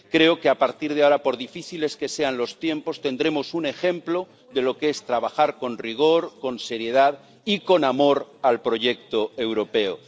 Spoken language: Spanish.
Creo que a partir de ahora, por difíciles que sean los tiempos, tendremos un ejemplo de lo que es trabajar con rigor, con seriedad y con amor al proyecto europeo.